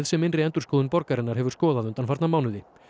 sem innri endurskoðun borgarinnar hefur skoðað undanfarna mánuði